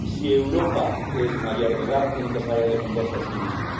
Si Europa es mayor de edad tiene que saber defenderse a sí misma.